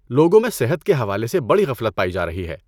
لوگوں میں صحت کے حوالے سے بڑی غفلت پائی جا رہی ہے۔